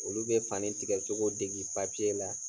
Olu be fani tigɛcogo degi la.